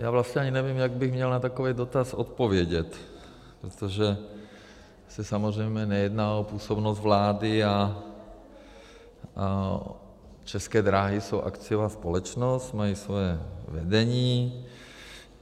Já vlastně ani nevím, jak bych měl na takový dotaz odpovědět, protože se samozřejmě nejedná o působnost vlády, a České dráhy jsou akciová společnost, mají svoje vedení.